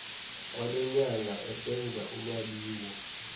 kwalenyanga esenza ulwabiwo